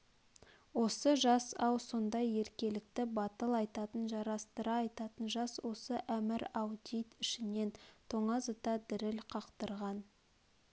осы жас-ау сондай еркелікті батыл айтатын жарастыра айтатын жас осы әмір-ау дейд ішінен тоңазыта діріл қақтырған